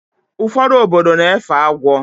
Ụfọdụ obodo na-efe agwọ